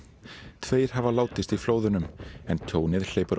tveir hafa látist í flóðunum en tjónið hleypur á